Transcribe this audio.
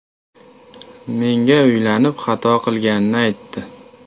Menga uylanib xato qilganini aytdi.